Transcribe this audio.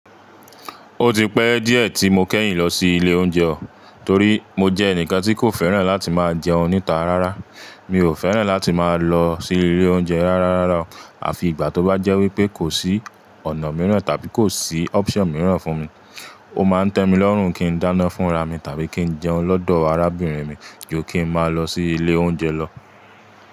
Ó ti pẹ́ díẹ̀ tí mo kẹ́yìn lọ sí ilé oúnjẹ o, torí mo jẹ́ ẹnìkan tí kò fẹ́ràn láti máa jẹun níta rárá. Mi ò fẹ́ràn láti máa lọ sí ilé oúnjẹ rárá rárá o, àfi ìgbà tó bá jẹ́ wípé kò sí ọ̀nà mìíràn tàbí kò sí option mìíràn fún mi. Ó máa ń tẹ́mi lọ́rùn kí n dáná fúnra mi tàbí kí n jẹun lọ́dọ̀ arábìnrin mi ju kí n máa lọ sí ilé oúnjẹ lọ.